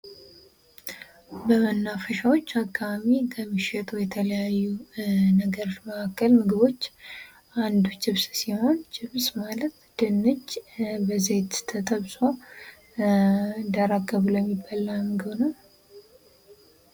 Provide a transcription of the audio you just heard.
በመናፈሻዎች አካባቢ ከሚሸጡ የተለያዩ ነገሮች መካከል ምግቦች አንዱ ችፕስ ሲሆን ችፕስ ማለት ድንች በዘይት ተጠብሶ ደረቅ ብሎ የሚበላ ምግብ ነው::